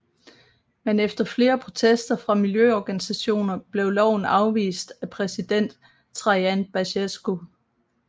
Men efter flere protester fra miljøorganisationer blev loven afvist af præsident Traian Băsescu